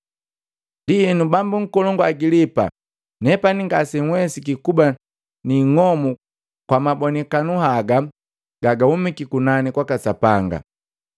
“Ndienu, bambu nkolongu Agilipa, nepani ngase nawesiki kuba niing'omu kwa mabonikanu haga gagahumiki kunani kwaka Sapanga.